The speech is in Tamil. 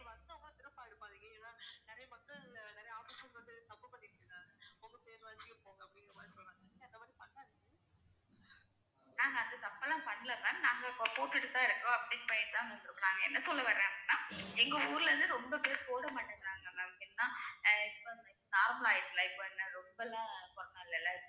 ma'am அந்த தப்ப எல்லாம் பண்ணல ma'am நாங்க இப்ப போட்டுட்டுதான் இருக்கோம் update பண்ணிட்டு தான் இருக்கோம் என்ன சொல்ல வர்றேன் அப்டினா எங்க ஊர்ல இருந்து ரொம்ப பேர் போட மாட்டேங்குறாங்க ma'am ஏன்னா எல்லாம் normal ஆயிடுச்சுல life னு ரொம்பலாம் corona இல்லைல